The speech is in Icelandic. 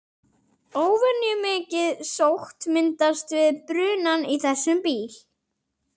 Óvenjumikið sót myndast við brunann í þessum bíl.